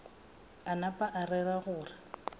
a napa a rera gore